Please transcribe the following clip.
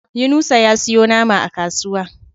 Yunusa ya siyo nama a kasuwa.